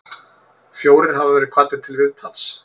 Fjórir hafa verið kvaddir til viðtals